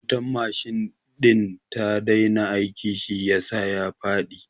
Wutar machine ɗin ta daina aiki shi yasa ya faɗi